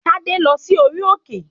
Tádé ń lọ sí orí òkè